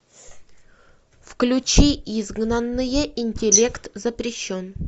включи изгнанные интеллект запрещен